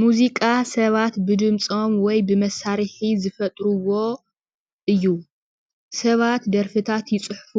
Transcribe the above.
ሙዚቃ ሰባት ብድምፆም ወይ ብመሳርሒ ዝፈጥርዎ እዩ፡፡ ሰባት ደርፍታት ይፅሕፉ፤